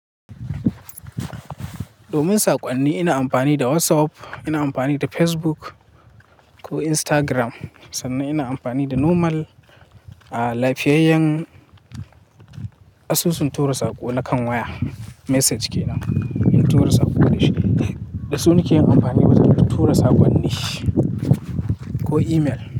Domin saƙonni ina amfani da WhatsApp, ina amfani da Facebook ko Instagram, sannan ina amfani da normal lafiyayyen asusun tura saƙo na kan waya. Message kenan, in tura saƙo da shi. Dasu nake amfani wajen tura saƙonni ko email.